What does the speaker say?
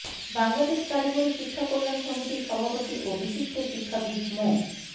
বাংলাদেশ কারিগরি শিক্ষা কল্যাণ সমিতির সভাপতি ও বিশিষ্ট শিক্ষাবীদ মো